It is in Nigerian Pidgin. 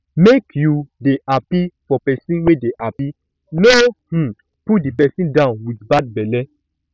make you um dey happy for person wey dey happy no um pull di person down with bad belle